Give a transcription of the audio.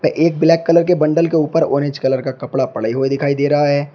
एक black colour के bundle के ऊपर ऑरेंज कलर का कपड़ा पड़े हुए दिखाई दे रहा है।